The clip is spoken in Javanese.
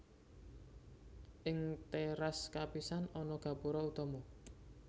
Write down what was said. Ing téras kapisan ana gapura utama